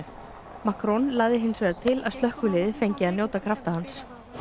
Macron lagði til að slökkviliðið fengi að njóta krafta hans